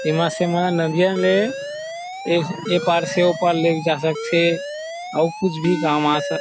एमा से नदियाँ ले ऐ ऐ पार से ओ पार ले जा सकथे और कुछ भी काम आ सक --